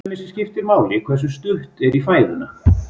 Til dæmis skiptir máli hversu stutt er í fæðuna.